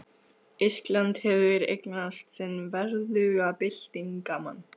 Ísland hefur eignast sinn verðuga byltingarmann!